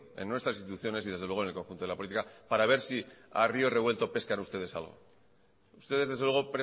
en nuestras instituciones y desde luego en el conjunto de la política para ver si a río revuelto pescan ustedes algo ustedes desde luego